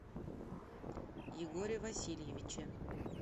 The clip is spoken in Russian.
егоре васильевиче